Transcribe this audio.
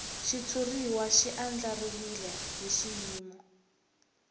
xitshuriwa xi andlariwile hi xiyimo